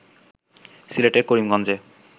সিলেটের করিমগঞ্জে